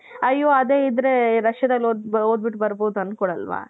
ಅಯ್ಯೋ ಅದೇ ಇದ್ರೆ Russiaದಲ್ಲಿ ಓದ್ಬಿಟ್ಟು ಬರಬಹುದು ಅನ್ಕೊಳಲ್ವಾ.